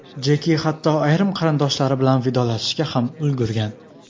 Jeki hatto ayrim qarindoshlari bilan vidolashishga ham ulgurgan.